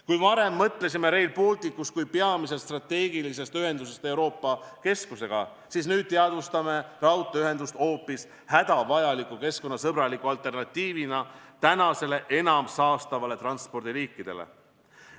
Kui me varem mõtlesime Rail Balticust kui peamiselt strateegilisest ühendusest Euroopa keskusega, siis nüüd teadvustame raudteeühendust hoopis hädavajaliku keskkonnasõbraliku alternatiivina praegustele enam saastavatele transpordiliikidele.